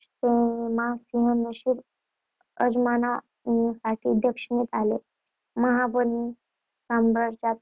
क्षेमासिंह नशीब अजमावण्यासाठी दक्षिणेत आले. बहामनी साम्राज्यात